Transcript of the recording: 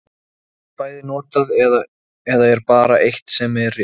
Því að vorir vitsmunir er sjónhending, og vorar spásagnir er sjónhending.